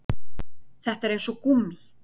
Þetta er eins og gúmmí